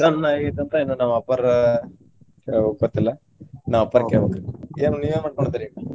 ton ಆಗೇತಿ ಅಂತ ಇನ್ನು ನಮ್ಮ ಅಪ್ಪಾರ ಕೇಳ್ಬೇಕು ಗೊತ್ತಿಲ್ಲಾ ನಮ್ಮ ಅಪ್ಪಾರ ಕೆಳ್ಬೇಕ್ರಿ ಏನ್ ನಿವೇನ್ ಮಾಡ್ಕೊಂಡಿದ್ರಿ?